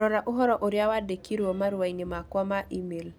Rora ũhoro ũrĩa wandĩkirũo marũa-inĩ makwa ma e-mail